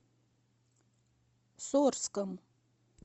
сорском